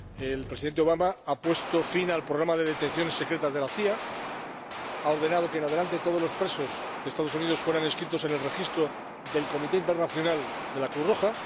El Presidente Obama ha puesto fin al programa de detenciones secretas de la CIA y ha ordenado que en adelante todos los presos de los Estados Unidos sean inscritos en el registro del Comité Internacional de la Cruz Roja